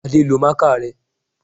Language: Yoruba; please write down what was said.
Adé lo máàkà rẹ